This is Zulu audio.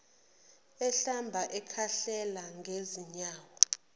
ehlamba ekhahlela ngezinyawo